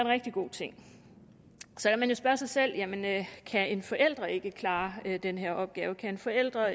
rigtig god ting så kan man jo spørge sig selv jamen kan en forælder ikke klare den her opgave kan en forælder